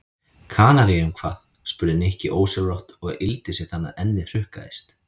Kanaríeyjum hvað? spurði Nikki ósjálfrátt og yggldi sig þannig að ennið hrukkaðist.